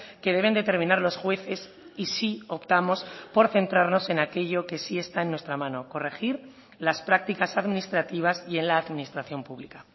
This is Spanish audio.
que deben determinar los jueces y sí optamos por centrarnos en aquello que sí está en nuestra mano corregir las prácticas administrativas y en la administración pública